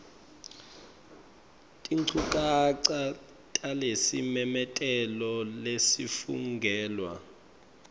tinchukaca talesimemetelo lesafungelwa